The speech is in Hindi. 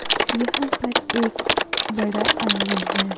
यहां पर एक बड़ा आंगन है।